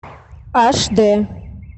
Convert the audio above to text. аш дэ